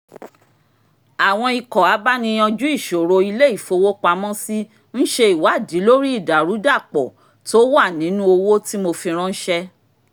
àwọn ikọ̀ abáni-yanjú-ìṣòro ilé ìfowópamọ́sí ń ṣe ìwádìí lórí ìdàrúdàpọ̀ tó wà nínú owó tí mo fi ránṣẹ́